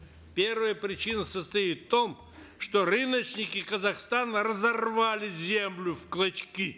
первая причина состоит в том что рыночники казахстана разорвали землю в клочки